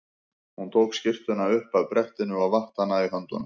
Hún tók skyrtuna upp af brettinu og vatt hana í höndunum.